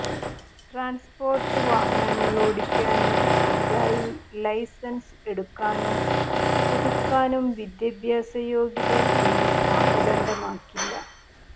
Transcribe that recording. transport വാഹനങ്ങളൊടിക്കാന് പുതുതായി licence എടുക്കാനും പുതുക്കാനും വിദ്യാഭ്യാസ യോഗ്യത ഇനി മാനദണ്ഡമാക്കില്ല